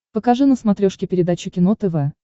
покажи на смотрешке передачу кино тв